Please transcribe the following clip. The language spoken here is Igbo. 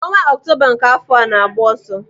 Ọnwa Ọktoba nke afọ a na-agba ọsọ.